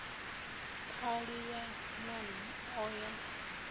khali ya nan o ya